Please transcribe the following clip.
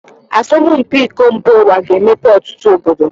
Asọmụ mpi iko mba uwa ga -emepe ọtụtụ obodo.